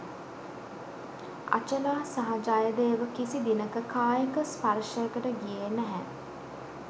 අචලා සහ ජයදේව කිසි දිනක කායික ස්පර්ෂයකට ගියේ නැහැ